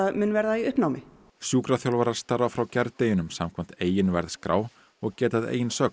mun verða í uppnámi sjúkraþjálfarar starfa frá gærdeginum samkvæmt eigin verðskrá og geta að eigin sögn